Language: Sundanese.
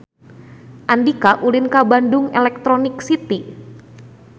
Andika ulin ka Bandung Electronic City